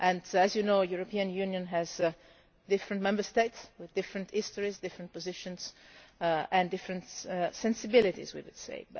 As you know the European Union has different Member States, with different histories, different positions, and different sensibilities we would